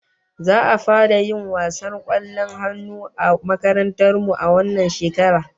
Za'a fara yin wasar kwallon hannu a makarantar mu a wannan shekarar